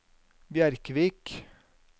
Bjerkvik